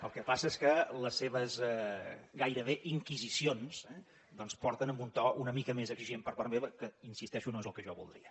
el que passa és que les seves gairebé inquisicions eh doncs porten a un to una mica més exigent per part meva que hi insisteixo no és el que jo voldria